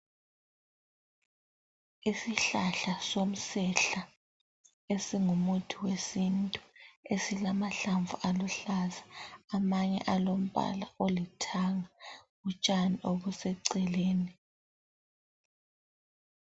Isihlahla somsehla esingumuthi wesintu. Esilamahlamvu aluhlaza amanye alombala olithanga. Utshani obuseceleni.